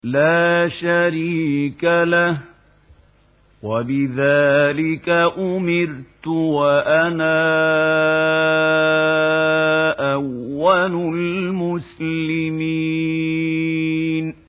لَا شَرِيكَ لَهُ ۖ وَبِذَٰلِكَ أُمِرْتُ وَأَنَا أَوَّلُ الْمُسْلِمِينَ